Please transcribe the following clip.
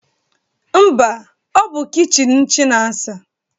Mba, ọ bụ kichin Chinasa